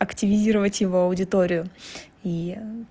активизировать его аудиторию и